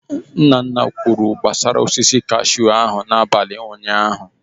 Nna nna kwuru gbasara osisi kashụ ya n'abalị ụnyaahụ.